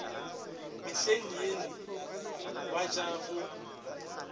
mehleng yeno ba ja go